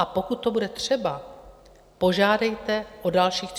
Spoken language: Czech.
A pokud to bude třeba, požádejte o dalších 30 dnů.